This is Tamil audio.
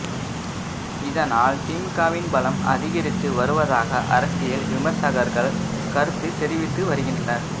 இதனால் திமுகவின் பலம் அதிகரித்து வருவதாக அரசியல் விமர்சகர்கள் கருத்து தெரிவித்து வருகின்றனர்